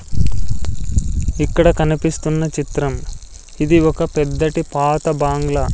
ఇక్కడ కనిపిస్తున్న చిత్రం ఇది ఒక పెద్దటి పాత బాంగ్లా.